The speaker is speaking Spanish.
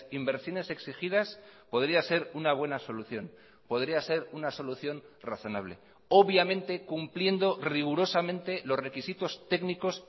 inversiones exigidas podríaser una buena solución podría ser una solución razonable obviamente cumpliendo rigurosamente los requisitos técnicos